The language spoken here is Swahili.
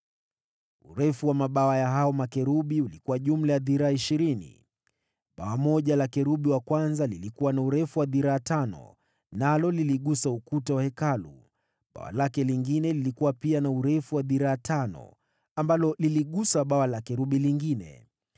Urefu wa mabawa ya hao makerubi ulikuwa jumla ya dhiraa ishirini. Bawa moja la kerubi wa kwanza lilikuwa na urefu wa dhiraa tano, nalo liligusa ukuta wa Hekalu, bawa lake lingine, lilikuwa pia na urefu wa dhiraa tano, ambalo liligusa bawa la kerubi lingine.